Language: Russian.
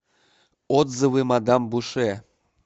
отзывы мадам буше